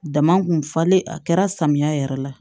Dama kun falen a kɛra samiya yɛrɛ la